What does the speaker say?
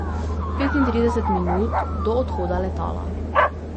Petintrideset minut do odhoda letala.